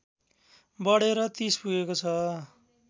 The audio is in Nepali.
बढेर ३० पुगेको छ